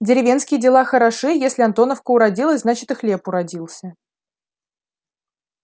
деревенские дела хороши если антоновка уродилась значит и хлеб уродился